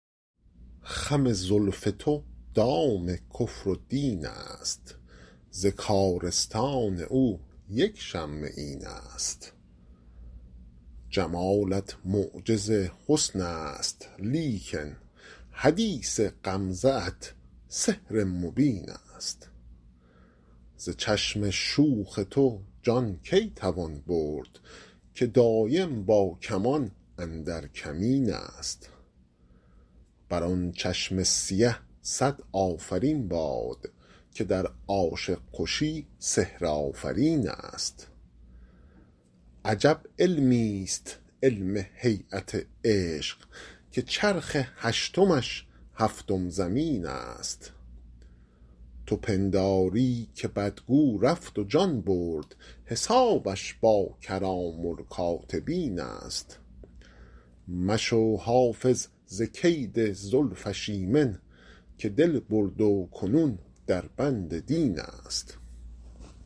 خم زلف تو دام کفر و دین است ز کارستان او یک شمه این است جمالت معجز حسن است لیکن حدیث غمزه ات سحر مبین است ز چشم شوخ تو جان کی توان برد که دایم با کمان اندر کمین است بر آن چشم سیه صد آفرین باد که در عاشق کشی سحرآفرین است عجب علمیست علم هییت عشق که چرخ هشتمش هفتم زمین است تو پنداری که بدگو رفت و جان برد حسابش با کرام الکاتبین است مشو حافظ ز کید زلفش ایمن که دل برد و کنون در بند دین است